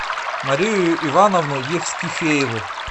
марию ивановну евстифееву